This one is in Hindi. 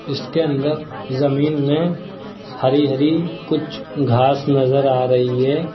इसके अंदर जमीन में हरी हरी कुछ घास नजर आ रही है।